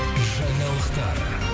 жаңалықтар